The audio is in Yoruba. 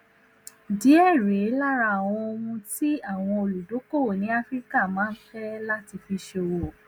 díẹ rèé lára àwọn ohun tí àwọn olùdókòwò ní áfíríkà máa ń fẹ láti fi ṣòwò